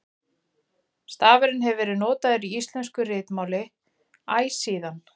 stafurinn hefur verið notaður í íslensku ritmáli æ síðan